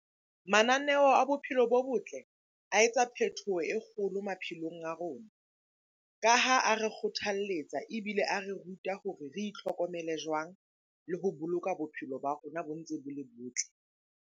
Mananeo a bophelo bo botle a etsa phethoho e kgolo maphelong a rona. Ka ha a re kgothaletsa ebile a re ruta hore re itlhokomele jwang? Le ho boloka bophelo ba rona bo ntse bo le botle.